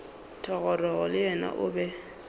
thogorogo le yena o be